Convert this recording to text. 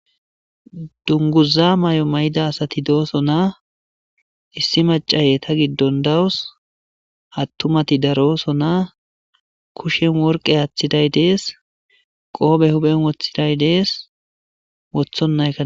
dunguza may7o may7ida asati dooso naa issi macaye ta giddon dawus attumati daroso naa kushen worqe aaththiday dees qoobe huben woththiday dees wothonna a